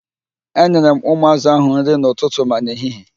Enyere m ụmụ ázụ̀ ahụ nri n'ụtụtụ ma n'ehihie.